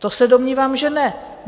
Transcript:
To se domnívám, že ne.